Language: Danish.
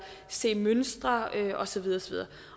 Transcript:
se mønstre og så videre